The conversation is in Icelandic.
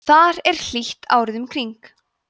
þar er hlýtt árið um kring